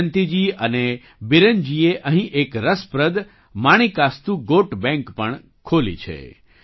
જયંતીજી અને બીરેનજીએ અહીં એક રસપ્રદ માણિકાસ્તુ ગૉટ બૅંક પણ ખોલી છે